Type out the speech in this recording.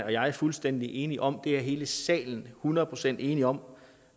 jeg fuldstændig enige om det er hele salen hundrede procent enige om